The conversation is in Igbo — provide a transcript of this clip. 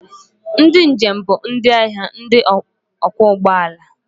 Ndị njem bụ ndị ahịa ndị ọkwọ ụgbọala.